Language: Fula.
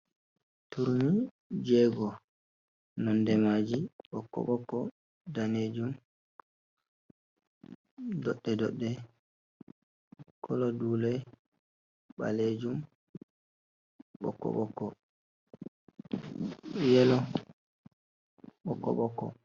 "Turmi" jego nonde maji ɓokko ɓokko danejum doɗɗe ɗoɗɗe kolo dule ɓalejum ɓokko ɓokko yelo ɓokko ɓokko.